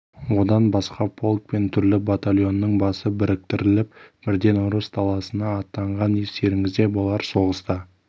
одан басқа полк пен түрлі батальонның басы біріктіріліп бірден ұрыс даласына аттанған естеріңізде болар соғыста